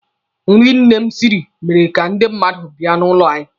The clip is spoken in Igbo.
Nri nne m siri mere ka ndị mmadụ bịa n'ụlọ anyị.